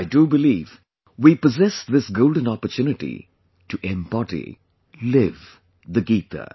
I do believe we possess this golden opportunity to embody, live the Gita